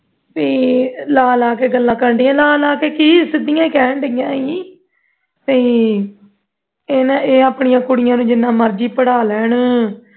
ਪੀ ਲਾ ਲਾ ਕੇ ਗੱਲਾਂ ਕਰਨ ਡਈਆ ਸੀ ਲਾ ਲਾ ਕੀ ਸਿੱਧੀਆਂ ਹੀ ਕਹਿਣ ਡਈਆ ਸੀ ਤੇ ਇਹ ਨਾ ਇਹ ਆਪਣੀ ਕੁੜੀਆਂ ਨੂੰ ਜਿਨ੍ਹਾਂ ਮਰਜ਼ੀ ਪੜ੍ਹ ਲੈਣ